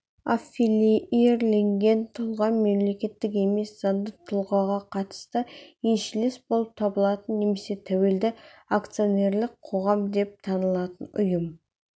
аффилиирленген тұлға мемлекеттік емес заңды тұлғаға қатысты еншілес болып табылатын немесе тәуелді акционерлік қоғам деп танылатын ұйым